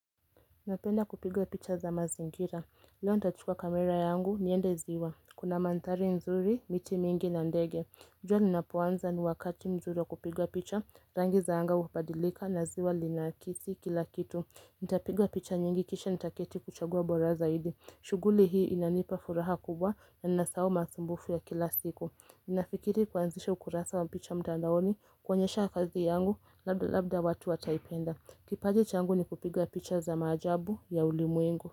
Napenda kupiga picha za mazingira, leo ntachukua kamera yangu, niende ziwa, kuna manthari nzuri, miti mingi na ndege jua linapoanza ni wakati mzuri wa kupiga picha, rangi za anga hubadilika na ziwa linakisi kila kitu nitapiga picha nyingi kisha ntaketi kuchagua bora zaidi, shughuli hii inanipa furaha kubwa na nanina sahau masumbufu ya kila siku Ninafikiri kuanzisha ukurasa wa picha mtandaoni, kuonyesha kazi yangu, labda labda watu wataipenda kipaji changu ni kupiga picha za maajabu ya ulimwengu.